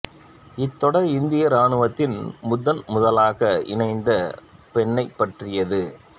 இத்தொடர் இந்திய இராணுவத்தில் முதன் முதலாக இணைந்த பெண்ணைப் பற்றியது